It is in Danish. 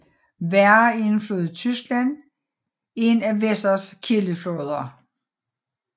Werra er en flod i Tyskland en af Wesers kildefloder